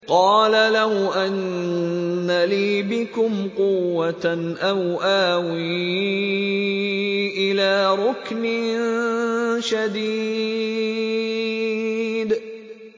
قَالَ لَوْ أَنَّ لِي بِكُمْ قُوَّةً أَوْ آوِي إِلَىٰ رُكْنٍ شَدِيدٍ